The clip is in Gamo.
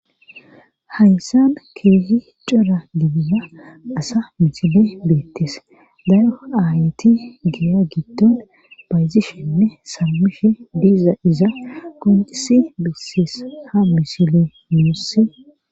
Haysan keehi cora gidiya asa misile beettes daro aayeti geeya gidton bayzishenne saamishe diiza iza qonxisi beeses ha misile muusse.